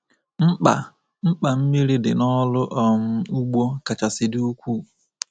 Mkpa Mkpa mmiri dị n’ọrụ um ugbo kachasị dị ukwuu.